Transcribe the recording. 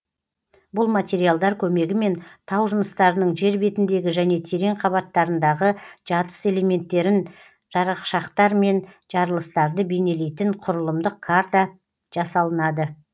бұл материалдар көмегімен тау жыныстарының жер бетіндегі және терең қабаттарындағы жатыс элементтерін жарықшақтар мен жарылыстарды бейнелейтін құрылымдық карта жасалынады